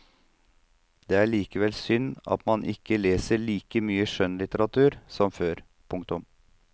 Det er likevel synd at man ikke leser like mye skjønnlitteratur som før. punktum